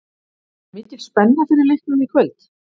Er mikil spenna fyrir leiknum í kvöld?